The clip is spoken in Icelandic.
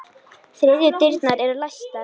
Þriðju dyrnar eru læstar.